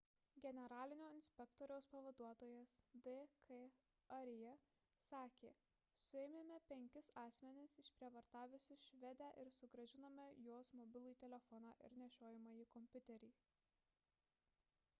generalinio inspektoriaus pavaduotojas d k arya sakė suėmėme penkis asmenis išprievartavusius švedę ir sugrąžinome jos mobilųjį telefoną ir nešiojamąjį kompiuterį